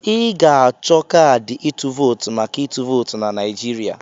Ị ga-achọ kaadị ịtụ vootu maka ịtụ vootu na Naijiria.